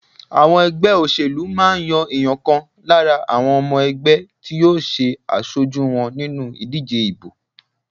Àwọn ẹgbẹ́ òṣèlú máa ń yan èèyàn kan lára àwọn ọmọ ẹgbẹ́ tí yóò ṣe aṣojú wọn nínú ìdíje ìbò.